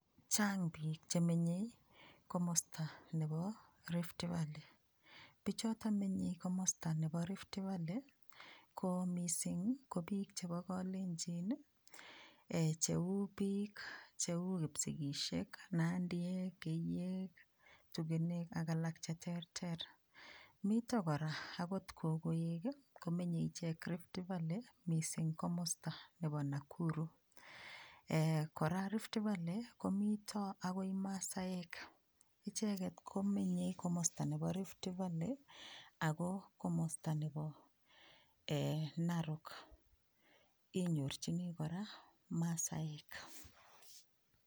Chaang piik chemenyei komosta nebo Rift valley pichoton menyei komosta nebo Rift valley ko mising ko biik chebo kalenjin cheu biik cheu kipsigisiek, nandiek keiyek tugenek ak piik alak che terter. Mito kora akot kokoek komenyei ichek Rift valley mising komosta nebo Nakuru kora Rift valley mito akoi masaek icheget komenyei komosta nebo Rift valley ako komosta nebo narok inyorchini kora masaek.